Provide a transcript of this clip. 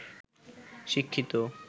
শিক্ষিত